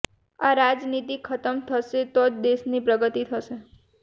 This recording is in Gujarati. આ રાજનીતિ ખતમ થશે તો જ દેશની પ્રગતિ થશે